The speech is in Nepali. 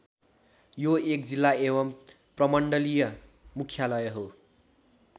यो एक जिल्ला एवम् प्रमण्डलीय मुख्यालय हो।